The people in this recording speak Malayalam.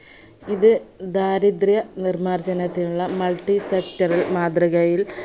ഇത് ദാരിദ്ര നിർമ്മാർജ്ജനത്തിനുള്ള multisector ൽ മാതൃകയിൽ